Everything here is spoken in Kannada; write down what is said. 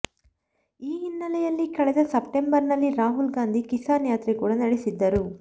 ಈ ಹಿನ್ನೆಲೆಯಲ್ಲಿ ಕಳೆದ ಸೆಪ್ಟಂಬರ್ ನಲ್ಲಿ ರಾಹುಲ್ ಗಾಂಧಿ ಕಿಸಾನ್ ಯಾತ್ರೆ ಕೂಡ ನಡೆಸಿದ್ದರು